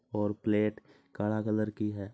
और प्लेट काला कलर की है।